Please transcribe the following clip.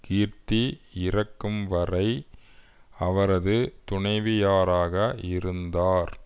கீர்த்தி இறக்கும் வரை அவரது துணைவியாராக இருந்தார்